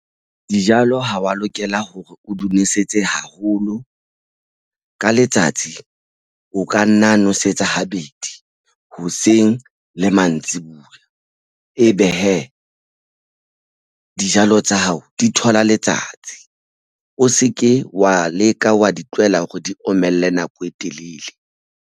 Dijalo ha wa lokela hore o di nosetse haholo ka letsatsi o ka nna nosetsa habedi hoseng le mantsibuya. Ebe hee dijalo tsa hao di thola letsatsi o se ke wa leka wa di tlohela hore di omelle nako e telele.